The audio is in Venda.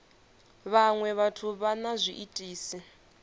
vhaṅwe vhathu vha na zwiitisi